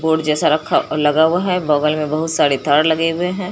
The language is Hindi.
और जैसा रखा लगा हुआ है बगल में बहुत सारे तार लगे हुए हैं।